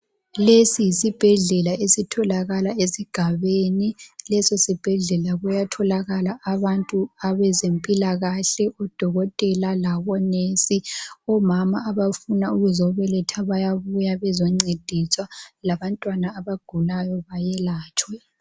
Lesi yisibhedlela esigabeni. Leso sibhedlela kuyatholakala abantu abezempilakahle, odokotela labo nurse. Omama abafuna ukuzobeletha bayabuya bezoncediswa labantwana abagulayo bayelatshwa.